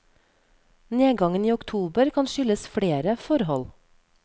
Nedgangen i oktober kan skyldes flere forhold.